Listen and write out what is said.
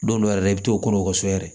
Don dɔ yɛrɛ la i bi t'o kɔnɔ so yɛrɛ